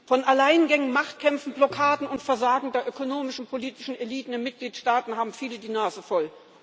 Von Alleingängen, Machtkämpfen, Blockaden und Versagen der ökonomischen, politischen Eliten in den Mitgliedstaaten haben viele die Nase voll.